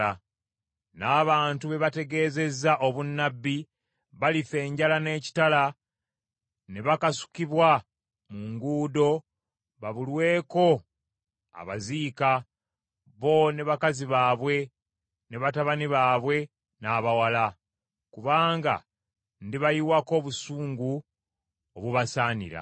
N’abantu be bategeezezza obunnabbi balifa enjala n’ekitala ne bakasukibwa mu nguudo babulweko abaziika, bo ne bakazi baabwe, ne batabani baabwe, n’abawala. Kubanga ndibayiwako obusungu obubasaanira.